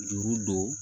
Juru don